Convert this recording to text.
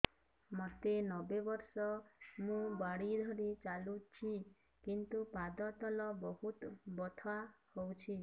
ମୋତେ ନବେ ବର୍ଷ ମୁ ବାଡ଼ି ଧରି ଚାଲୁଚି କିନ୍ତୁ ପାଦ ତଳ ବହୁତ ବଥା ହଉଛି